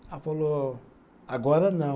Ela falou, agora não.